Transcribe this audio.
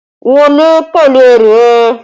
Wọlé pẹ̀lú ẹrù ẹ!